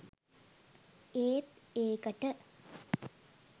ඒත් ඒකට